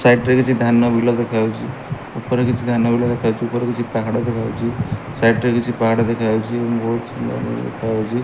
Side ରେ କିଛି ଧାନ ବିଲ ଦେଖାଯାଉଚି ଉପରେ କିଛି ଧାନ ବିଲ ଦେଖାଯାଉଚି ଉପରେ କିଛି ପାହାଡ଼ ଦେଖାଯାଉଚି ସାଇଡ୍ ରେ କିଛି ପାହାଡ଼ ଦେଖାଯାଉଚି ବହୁତ୍ ସୁନ୍ଦର ଦେଖଯାଉଛି।